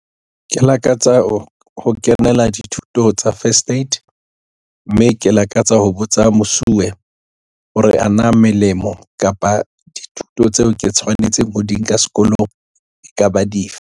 Ke lakatsa ho kenela dithuto tsa first aid, mme ke lakatsa ho botsa mosuwe hore ana melemo kapa dithuto tseo ke tshwanetseng ho di nka sekolong e ka ba dife.